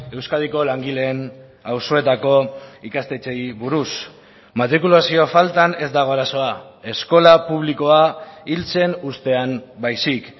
euskadiko langileen auzoetako ikastetxeei buruz matrikulazio faltan ez dago arazoa eskola publikoa hiltzen uztean baizik